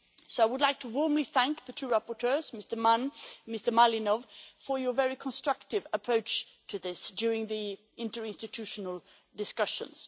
I would like to warmly thank the two rapporteurs, Mr Mann and Mr Malinov, for your very constructive approach to this during the interinstitutional discussions.